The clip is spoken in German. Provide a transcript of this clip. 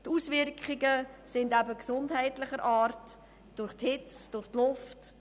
Die Auswirkungen sind gesundheitlicher Art, verursacht durch die Hitze und durch die Luft.